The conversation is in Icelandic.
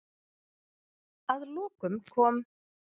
Að lokum kom